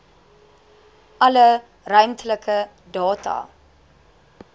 alle ruimtelike data